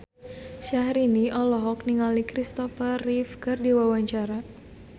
Syahrini olohok ningali Christopher Reeve keur diwawancara